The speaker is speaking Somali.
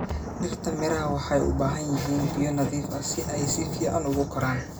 Dhirta miraha waxay u baahan yihiin biyo nadiif ah si ay si fiican ugu koraan.